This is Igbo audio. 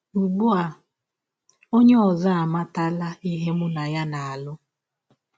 Ugbu a, ọnye ọzọ amatala ihe mụ na ya na - alụ.